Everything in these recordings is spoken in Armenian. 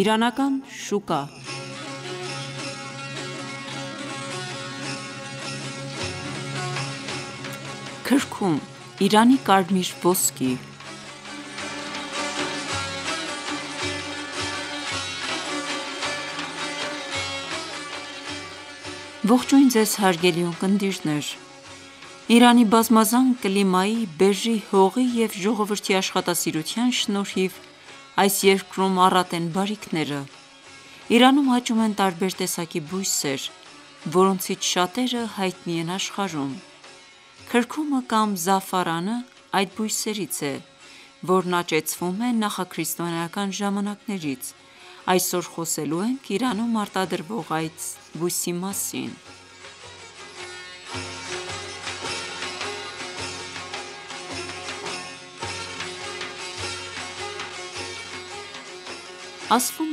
Իրանական շուկա (2) Քրքում՝ Իրանի կարմիր ոսկի Իրանի բազմազան կլիմայի, բերրի հողի և ժողովրդի աշխատասիրության շնորհիվ այս երկրում առատ են բարիքները: Իրանում աճում են տարբեր տեսակի բույսեր, որոնցից շատերը հայտնի են աշխարհում: Քրքումը կամ զաֆրանն այդ բույսերից է, որն աճեցվում է նախաքրիստոնեական ժամանակներից: Այսօր խոսելու ենք Իրանում արտադրվող այս բույսի մասին: Ասվում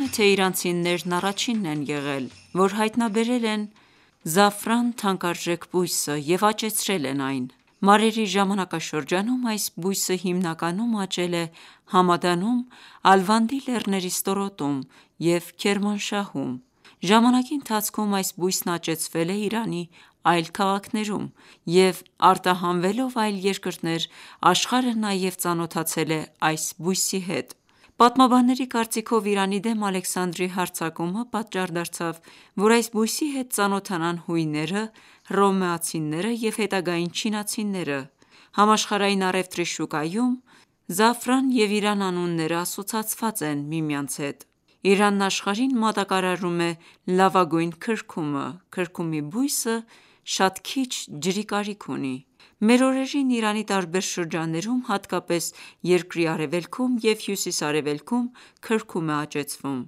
է, թե իրանցիներն առաջինն են եղել, որ հայտնաբերել են այս թանկարժեք բույսը և աճեցրել են այն: Մարերի ժամանակաշրջանում (մթա. 549-728) այս բույսը հիմնականում աճել է Համադանում Ալվանդի լեռների ստորոտում և Քերմանշահում: Ժամանակի ընթացքում այս բույսն աճեցվել է Իրանի այլ քաղաքներում և արտահանվելով այլ երկրներ, աշխարհը նաև ծանոթացել է այս բույսի հետ: Պատմաբանների կարծիքով, Իրանի դեմ Ալեքսանդրի հարձակումը (մթա. 334) պատճառ դարձավ, որ այս բույսի հետ ծանոթանան հույները, հռոմեացիները և հետագային չինացիները: Համաշխարհային առևտրի շուկայում «զաֆարան» և «Իրան» անունները ասոցացված են միմյանց հետ: Իրանն աշխարհին մատակարարում է լավագույն քրքումը: Քրքումի բույսը շատ քիչ ջրի կարիք ունի: Մեր օրերին Իրանի տարբեր շրջաններում, հատկապես երկրի արևելքում և հյուսիս-արևելքում քրքում է աճեցվում: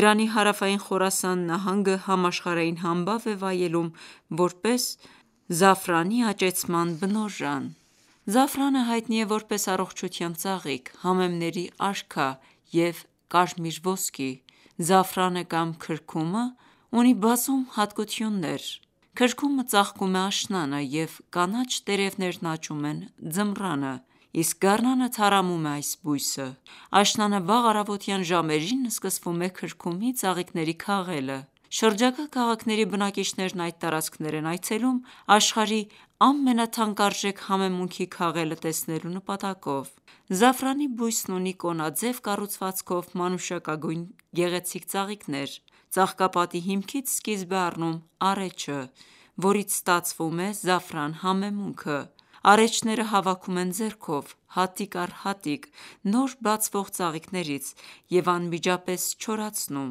Իրանի հարավային Խորասան նահանգը համաշխարհային համբավ է վայելում որպես քրքումի աճեցման բնօրրան: Զաֆրանը հայտնի է որպես առողջության ծաղիկ, համեմների արքա և կարմիր ոսկի: Զաֆրանը կամ քրքումն ունի բազում յուրահատկություններ: Քրքումը ծաղկում է աշնանը և կանաչ տերևներն աճում են ձմռանը: Իսկ գարնանը թառամում է այս բույսը: Աշնանը վաղ առավոտյան ժամերին սկսվում է քրքումի ծաղիկների քաղելը: Շրջակա քաղաքների բնակիչներն այդ տարածքներ են այցելում աշխարհի ամենաթանկարժեք համեմունքի քաղելը տեսնելու նպատակով: Զաֆրանի բույսն ունի կոնաձև կառուցվածքով մանուշակագույն գեղեցիկ ծաղիկներ: Ծաղկապատի հիմքից սկիզբ է առնում առէջը, որից ստացվում է զաֆրան համեմունքը: Առէջները հավաքում են ձեռքով` հատիկ առ հատիկ, նոր բացվող ծաղիկներից, և անմիջապես չորացնում։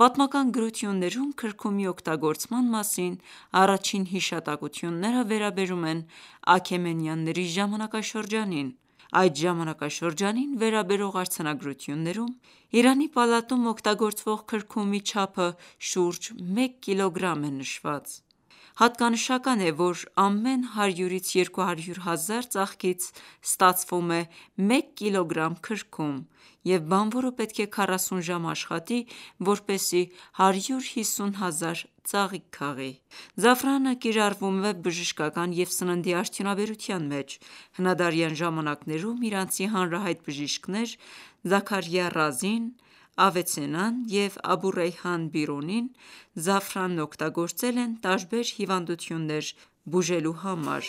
Պատմական գրություններում քրքումի օգտագործման մասին առաջին հիշատակությունները վերաբերում են Աքեմենյանների ժամանակաշրջանին (330-550): Այդ ժամանակաշրջանին վերաբերող արձանագրություններում Իրանի պալատում օգտագործվող քրքումի չափը շուրջ մեկ կիլոգրամ է նշված: Հատկանշական է, որ ամեն 100-200 հազար ծաղկից ստացվում է մեկ կգ քրքում և բանվորը պետք է 40 ժամ աշխատի, որպեսզի 150 հազար ծաղիկ քաղի: Զաֆրանը կիրառվում է բժշկական և սննդի արդյունաբերության մեջ: Հնադարյան ժամանակներում իրանցի հանրահայտ բժիշկներ՝ Զաքարյա Ռազին, Ավիցեննան և Աբուռեյհան Բիրունին զաֆրանն օգտագործել են տարբեր հիվանդություններ բուժելու համար: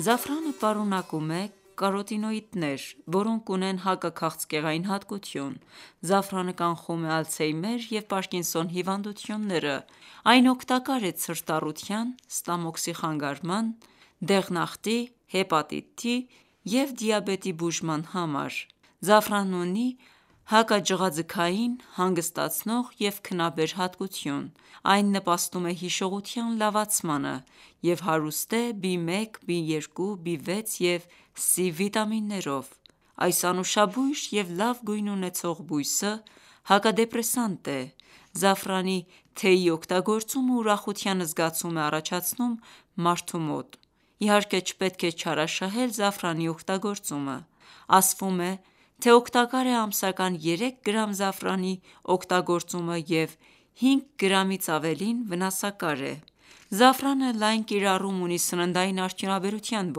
Զաֆրանը պարունակում է կարոտինոիդներ, որոնք ունեն հակաքաղցկեղային հատկություն: Զաֆրանը կանխում է ալցհեյմեր և պարկինսոն հիվանդությունները: Այն օգտակար է ցրտառության, ստամոքսի խանգարման, դեղնախտի, հեպատիտի (Լյարդի բորբոքում) և դիաբետի բուժման համար: Զաֆրանն ունի հակաջղաձգային, հանգստացնող և քնաբեր հատկություն: Այն նպաստում է հիշողության լավացմանը և հարուստ է B1 ، B2 ، B6 և C վիտամիններով: Այս անուշաբույր և լավ գույն ունեցող բույսը հակադեպրեսանտ է: Զաֆրանի թեյի օգտագործումն ուրախության զգացում է առաջացնում մարդու մոտ, իհարկե չպետք է չարաշահել զաֆրանի օգտագործումը: Ասվում է, թե օգտակար է ամսական 3 գրամ զաֆրանի օգտագործումը և 5 գրամից ավելին վնասակար է: Զաֆրանը լայն կիրառում ունի սննդային արդյունաբերության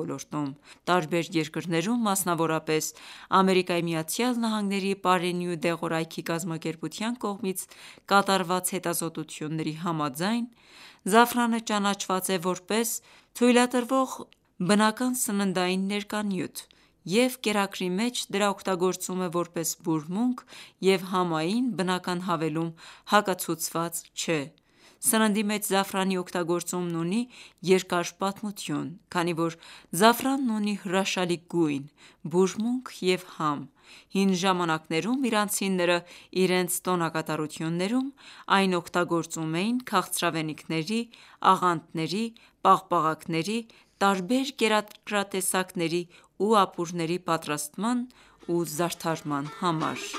ոլորտում: Տարբեր երկրներում, մասնավորապես ԱՄՆ-ի պարենի ու դեղորայքի (FDA) կազմակերպության կողմից կատարված հետազոտությունների համաձայն, զաֆրանը ճանաչված է որպես թույլատրվող բնական սննդային ներկանյութ և կերակրի մեջ դրա օգտագործումն որպես բուրմունք և համային բնական հավելում հակացուցված չէ: Սննդի մեջ զաֆրանի օգտագործումն ունի երկար պատմություն: Քանի որ զաֆրանն ունի հրաշալի գույն, բուրմունք և համ, հին ժամանակներում իրանցիները իրենց տոնակատարություններում այն օգտագործում էին քաղցրավենիքների, աղանդների, պաղպաղակների, տարբեր կերակրատեսակների ու ապուրների պատրաստման ու զարդարման համար: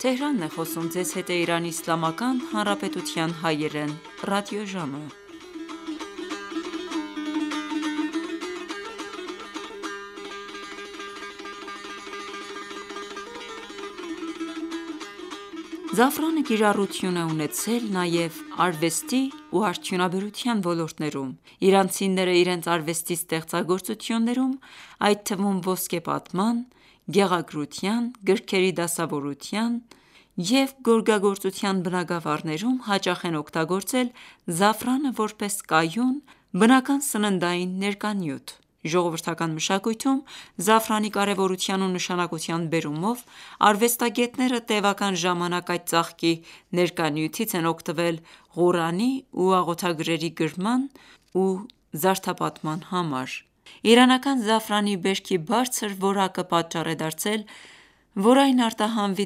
Զաֆրանը կիրառություն է ունեցել նաև արվեստի ու արդյունաբերության ոլորտներում: Իրանցիները իրենց արվեստի ստեղծագործություններում, այդ թվում ոսկեպատման, գեղագրության, գրքերի դասավորության և գորգագործության բնագավառներում, հաճախ են օգտագործել զաֆրանը որպես կայուն, բնական սննդային ներկանյութ: Ժողովրդական մշակույթում զաֆրանի կարևորության ու նշանակության բերումով, արվեստագետները տևական ժամանակ այդ ծաղկի ներկանյութից են օգտվել Ղուրանի ու աղոթագրերի գրման ու զարդապատման համար: Իրանական զաֆրանի բերքի բարձր որակը պատճառ է դարձել, որ այն արտահանվի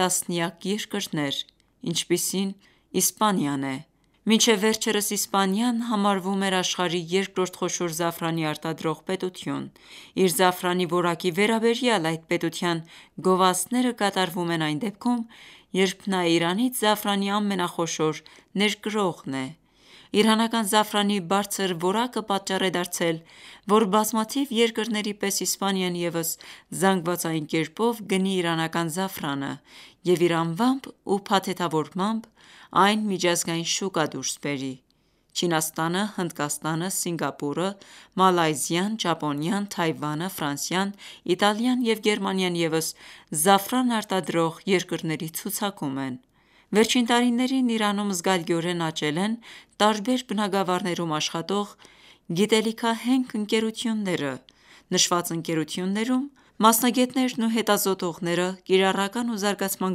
տասնյակ երկրներ, ինչպիսին Իսպանիան է: Մինչև վեջերս Իսպանիան համարվում էր աշխարհի երկրորդ խոշոր զաֆրանի արտադրող պետություն: Իր զաֆրանի որակի վերաբերյալ այդ պետության գովազդները կատարվում են այն դեպքում, երբ նա Իրանից զաֆրանի ամենախոշոր ներկրողն է: Իրանական զաֆրանի բարձր որակը պատճառ է դարձել, որ բազմաթիվ երկրների պես Իսպանիան ևս զանգվածային կերպով գնի իրանական զաֆրանը և իր անվամբ ու փաթեթավորմամբ այն միջազգային շուկա դուրս բերի: Չինաստանը, Հնդկաստանը, Սինգապորը, Մալայզիան, Ճապոնիան, Թայվանը, Ֆրանսիան, Իտալիան և Գերմանիան ևս զաֆրան արտադրող երկրների ցուցակում են: Վերջին տարիներին Իրանում զգալիորեն աճել են տարբեր բնագավառներում աշխատող գիտելիքահենք ընկերությունները: Նշված ընկերություններում մասնագետներն ու հետազոտողները կիրառական ու զարգացման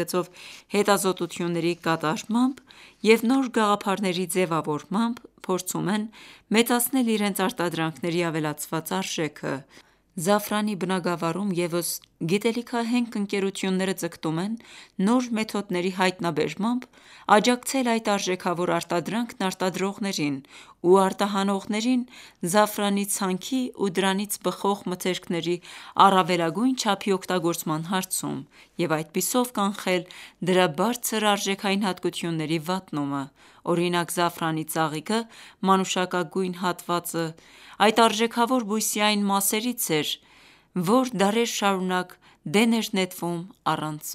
գծով հետազոտությունների կատարմամբ և նոր գաղափարների ձևավորմամբ փորձում են մեծացնել իրենց արտադրանքների ավելացված արժեքը: Զաֆրանի բնագավառում ևս գիտելիքահենք ընկերությունները ձգտում են նոր մեթոդների հայտնաբերմամբ աջակցել այդ արժեքավոր արտադրանքն արտադրողներին ու արտահանողներին զաֆրանի ցանքի ու դրանից բխող մթերքների առավելագույն չափի օգտագործման հարցում և այդպիսով կանխել դրա բարձր արժեքային հատկությունների վատնումը: Օրինակ՝ զաֆրանի ծաղիկը (մանուշակագույն հատվածը) այդ արժեքավոր բույսի այն մասերից էր, որ դարեր շարունակ դեն էր նետվում առանց